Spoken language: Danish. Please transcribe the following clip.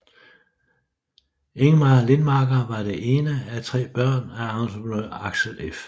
Ingmar Lindmarker var det ene af tre børn af entreprenør Axel F